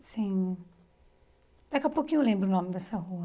Sem, daqui a pouquinho eu lembro o nome dessa rua.